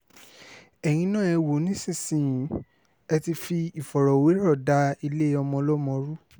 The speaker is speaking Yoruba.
ẹ̀yin náà ẹ wò ó nísìnyìí ẹ ti fi ìfọ̀rọ̀wérọ̀ da ilé ọmọọlọ́mọ rú